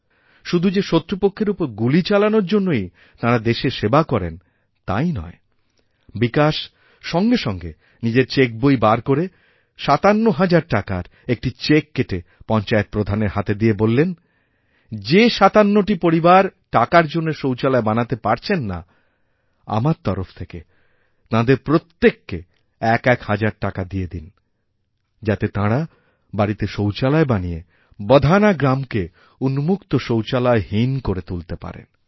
শুধু যে শত্রুপক্ষের ওপর গুলি চালানোর জন্যই তাঁরা দেশের সেবা করেনতাই নয় বিকাশ সঙ্গে সঙ্গে নিজের চেকবই বার করে ৫৭ হাজার টাকার একটি চেক কেটেপঞ্চায়েত প্রধানের হাতে দিয়ে বললেন যে ৫৭টি পরিবার টাকার জন্য শৌচালয় বানাতেপারছেন না আমার তরফ থেকে তাঁদের প্রত্যেককে এক এক হাজার টাকা দিয়ে দিন যাতেতাঁরা বাড়িতে শৌচালয় বানিয়ে বধানা গ্রামকে উন্মুক্ত শৌচালয় হীন করে তুলতে পারে